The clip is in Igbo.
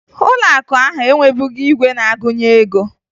Ụlọakụ ahụ enwebughi igwe na-agụnye ego